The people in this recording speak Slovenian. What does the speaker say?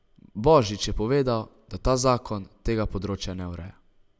Božič je povedal, da ta zakon tega področja ne ureja.